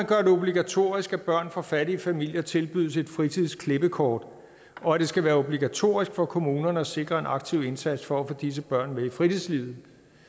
gøre det obligatorisk at børn fra fattige familier tilbydes et fritidsklippekort og at det skal være obligatorisk for kommunerne at sikre en aktiv indsats for at få disse børn med i fritidslivet